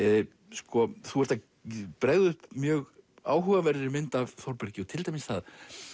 sko þú ert að bregða upp mjög áhugaverðri mynd af Þórbergi og til dæmis það